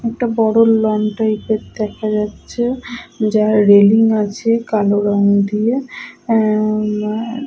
একটা বড় লন টাইপের দেখা যাচ্ছে। যার রেলিং আছে কালো রং দিয়ে। এ এ --